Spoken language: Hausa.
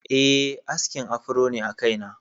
Eh, askin afro ne a kaina.